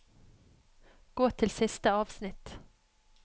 Gå til siste avsnitt